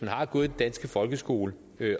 har gået i den danske folkeskole